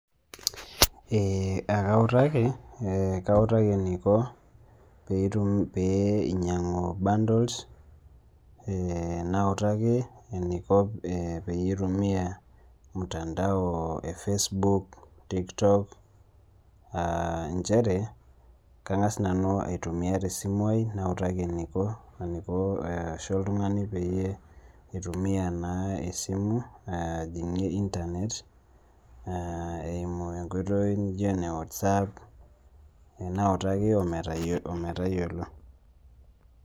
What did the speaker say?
Kaituki, kautaki eniko peyie inyang'u bundles, nautaki eniko peyie aitumia mtandao ee Facebook tiktok nchere kang'as nanu aitumia te simu ai nautaki eniko arashu oltung'ani peyie itumia naa esimu ajing'ie internet eimu enkoitoi naijo ene what's app nautaki ometayiolo.